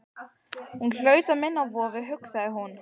Hún hlaut að minna á vofu, hugsaði hún.